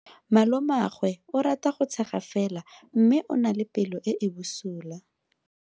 Malomagwe o rata go tshega fela o na le pelo e e bosula.